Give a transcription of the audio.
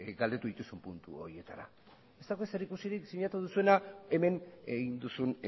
galdetu dituzun puntu horietara ez dauka zerikusirik sinatu duzuena hemen egin duzun